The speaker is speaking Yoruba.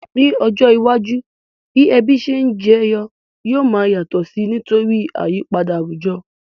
Ní ojó iwájú, bi ebí se n jeyo yio ma yàtò si nítorí àyípadà àwùjo